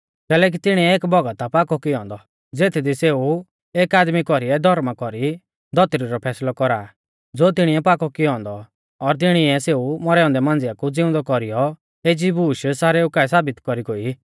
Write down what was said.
कैलैकि तिणीऐ एक भौगत आ पाकौ कियौ औन्दौ ज़ेथदी सेऊ एक आदमी कौरीऐ धौर्मा कौरी धौतरी रौ फैसलौ कौरा आ ज़ो तिणीऐ पाकौ कियौ औन्दौ और तिणीऐ सेऊ मौरै औन्दै मांझिया कु ज़िउंदौ कौरीयौ एज़ी बूश सारेऊ काऐ साबित कौरी गोई